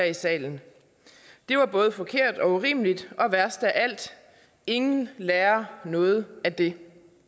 i salen det var både forkert og urimeligt og værst af alt ingen lærer noget af det